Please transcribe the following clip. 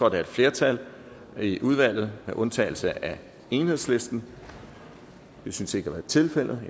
af et flertal i udvalget med undtagelse af enhedslisten det synes ikke at være tilfældet